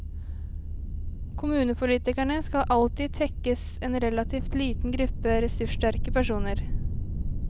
Kommunepolitikerne skal alltid tekkes en relativt liten gruppe ressurssterke personer.